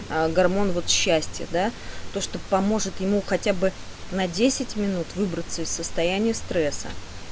аа гормон счастья да то что поможет ему хотя бы на десять минут выбраться из состояния стресса